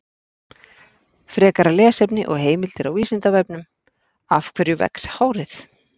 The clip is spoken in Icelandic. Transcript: Frekara lesefni og heimildir á Vísindavefnum: Af hverju vex hárið?